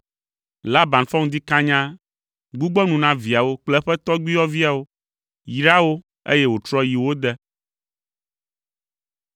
Laban fɔ ŋdi kanya, gbugbɔ nu na viawo kple eƒe tɔgbuiyɔviawo, yra wo, eye wòtrɔ yi wo de.